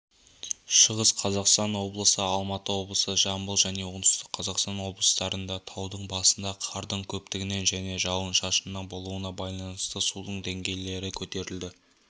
шығыс қазақстан облысы алматы облысы жамбыл және оңтүстік қазақстан облыстарында таудың басында қардың көптігінен және жауын-шашынның болуына байланысты судың деңгейлері көтеріледі